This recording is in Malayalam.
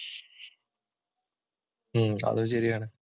ഉം അതും ശരിയാണ്.